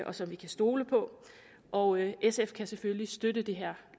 og som vi kan stole på og sf kan selvfølgelig støtte det her